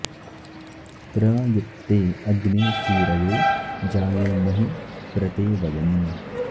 प्र यत्ते॑ अग्ने सू॒रयो॒ जाये॑महि॒ प्र ते॑ व॒यम्